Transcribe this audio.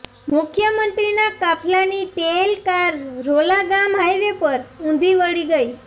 મુખ્યમંત્રીના કાફલાની tail car Rola ગામ હાઇવે પર ઊંધી વળી ગઈ